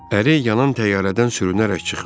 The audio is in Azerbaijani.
Əri yanan təyyarədən sürünərək çıxmış.